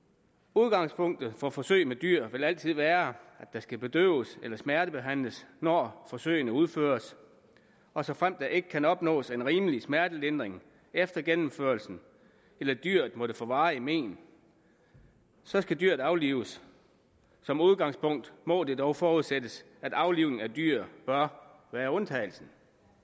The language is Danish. udgangspunktet for forsøg med dyr vil altid være at der skal bedøves eller smertebehandles når forsøgene udføres og såfremt der ikke kan opnås en rimelig smertelindring efter gennemførelsen eller dyret måtte få varige men så skal dyret aflives som udgangspunkt må det dog forudsættes at aflivning af dyr bør være undtagelsen